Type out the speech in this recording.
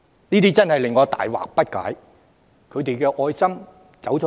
這真的令我大惑不解，他們的愛心往哪裏去了？